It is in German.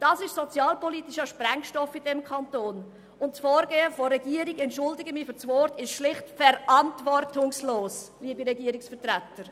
Das ist sozialpolitischer Sprengstoff, und das Vorgehen der Regierung ist – ich entschuldige mich für das Wort – schlicht verantwortungslos, liebe Regierungsvertreter.